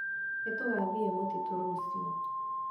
Nĩtũgathiĩ mũtitũ rũciũ